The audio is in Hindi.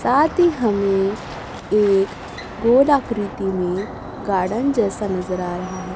साथ ही हमें एक गोल आकृति में गार्डन जैसा नजर आ रहा है।